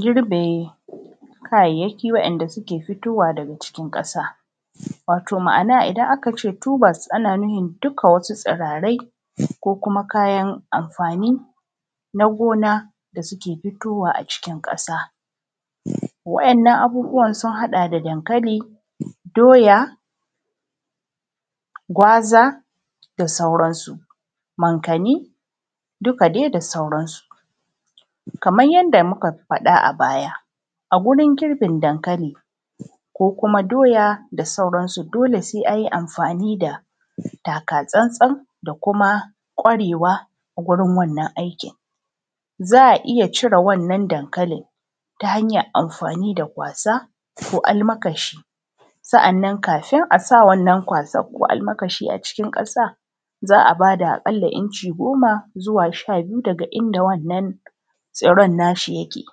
Girbe kayayyaki wa`yanda suke fitowa daga cikin ƙasa wato ma`ana idan aka ce “tubers” ana nufin duk wasu tsirarai ko kuma kayan amfani na gona da suke fitowa a cikin ƙasa. Wa`yannan abubuwan sun haɗa da dankali, doya gwaza, da sauransu, mankanni duka dai da sauransu. Kaman yanda muka faɗa a baya a gurin girbin dankali ko kuma doya da sauransu, dole sai an yi amfani da taka tsantsan da kuma ƙwarewa gurin wannan aiki za a iya cire wannan dankalin ta hanyan amfani da kwasa ko almakashi. Sa`anan kafin a sa wannan kwasa ko almakashin a cikin ƙasa za a bada a ƙalla inci goma zuwa sha biyu inda wannan tsiron nashi yake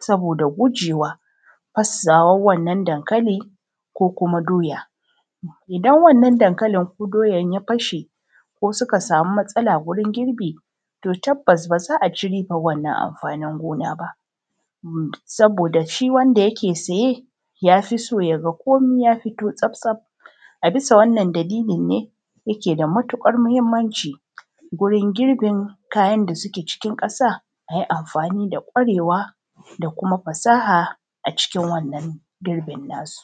saboda gujewa fasuwan wannan dankalin ko kuma doya Idan wannan dankalin ko doyan ya fashe ko suka sami matsala gurin girbi to tabas ba za a ci riban wannan amfanin gona ba saboda shi wanda yake saye ya fi so yaga komi ya fito tsaftsaf. A bisa wannan dalili ne yake da matuƙar muhimmanci gurin girbin kayan da suke cikin ƙasa cikin ƙwarewa da kuma fasaha a cikin wannan girbin na su.